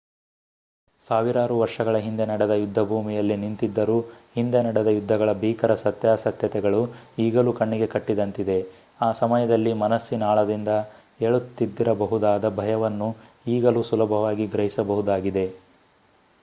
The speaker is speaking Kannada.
ಸಾವಿರಾರು ವರ್ಷಗಳ ಹಿಂದೆ ನಡೆದ ಯುದ್ಧಭೂಮಿಯಲ್ಲಿ ನಿಂತಿದ್ದರೂ ಹಿಂದೆ ನಡೆದ ಯುದ್ಧಗಳ ಭೀಕರ ಸತ್ಯಾಸತ್ಯತೆಗಳು ಈಗಲೂ ಕಣ್ಣಿಗೆ ಕಟ್ಟಿದಂತಿದೆ ಆ ಸಮಯದಲ್ಲಿ ಮನಸ್ಸಿನಾಳದಿಂದ ಏಳುತ್ತಿದ್ದಿರಬಹುದಾದ ಭಯವನ್ನು ಈಗಲೂ ಸುಲಭವಾಗಿ ಗ್ರಹಿಸಬಹುದಾಗಿದೆ